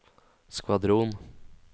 skvadron